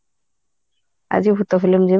ଆଜି ଭୁତ film ଯିବା